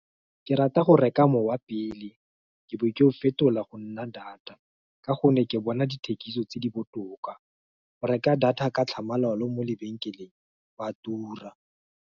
Ke rata go reka mowa pele, ke bo ke go fetola go nna data, Ka gonne ke bona dithekiso tse di botoka go reka data ka tlhamalalo. Mo lebenkeleng ba tura.